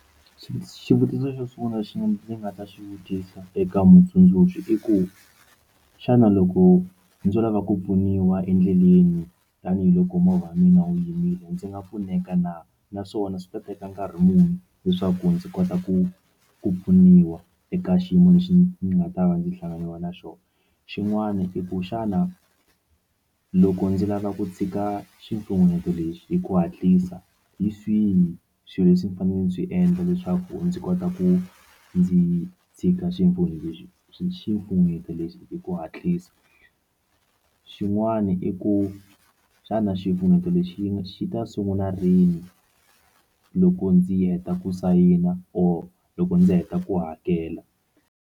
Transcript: Xivutiso xo sungula lexi ndzi nga ta xi vutisa eka mutsundzuxi i ku xana loko ndzo lava ku pfuniwa endleleni tanihiloko movha wa mina wu yimile ndzi nga pfuneka na naswona swi ta teka nkarhi muni leswaku ndzi kota ku ku pfuniwa eka xiyimo lexi ni nga ta va ndzi hlanganiwa na xona xin'wana i ku xana loko ndzi lava ku tshika xifunengeto lexi hi ku hatlisa hi swihi swilo leswi ndzi fanele ndzi swi endla leswaku ndzi kota ku ndzi tshika xifunengeto lexi xi xifunengeto lexi hi ku hatlisa xin'wani i ku xana xifunengeto lexi xi ta sungula rini loko ndzi heta ku sayina or loko ndzi heta ku hakela.